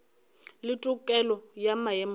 le tokelo ya maemo a